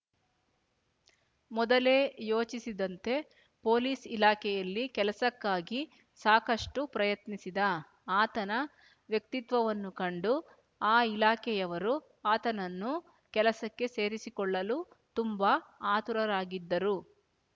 ಮೊದಲೆ ಯೋಚಿಸಿದ್ದಂತೆ ಪೊಲೀಸ್ ಇಲಾಖೆಯಲ್ಲಿ ಕೆಲಸಕ್ಕಾಗಿ ಸಾಕಷ್ಟು ಪ್ರಯತ್ನಿಸಿದ ಆತನ ವ್ಯಕ್ತಿತ್ವವನ್ನು ಕಂಡು ಆ ಇಲಾಖೆಯವರು ಆತನನ್ನು ಕೆಲಸಕ್ಕೆ ಸೇರಿಸಿಕೊಳ್ಳಲು ತುಂಬ ಆತುರರಾಗಿದ್ದರು